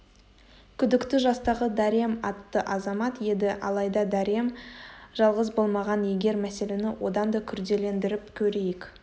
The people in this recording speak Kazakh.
күдікті жастағы дарем атты азамат еді алайда дарем жалғыз болмаған егер мәселені одан да күрделендіріп көрейік